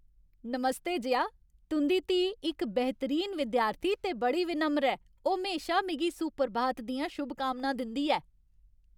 नमस्ते जया, तुं'दी धीऽ इक बेह्तरीन विद्यार्थी ते बड़ी विनम्र ऐ। ओह् म्हेशा मिगी सुप्रभात दियां शुभकामनां दिंदी ऐ।